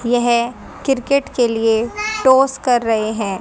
यह क्रिकेट के लिए टॉस कर रहे हैं।